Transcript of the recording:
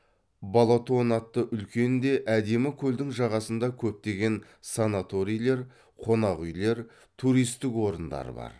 балатон атты үлкен де әдемі көлдің жағасында көптеген санаторийлер қонақүйлер туристік орындар бар